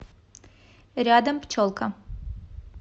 рядом пчелка